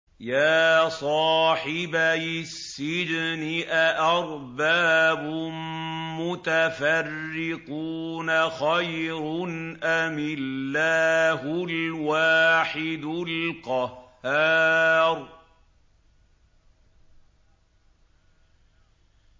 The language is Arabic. يَا صَاحِبَيِ السِّجْنِ أَأَرْبَابٌ مُّتَفَرِّقُونَ خَيْرٌ أَمِ اللَّهُ الْوَاحِدُ الْقَهَّارُ